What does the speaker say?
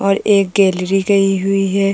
और एक गैलरी गई हुई है।